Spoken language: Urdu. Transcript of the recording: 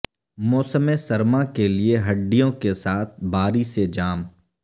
موسم سرما کے لئے ہڈیوں کے ساتھ باری سے جام